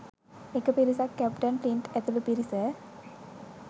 එක පිරිසක් captain Flint ඇතුළු පිරිස